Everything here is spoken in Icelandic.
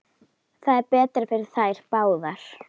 Það er betra fyrir þær báðar.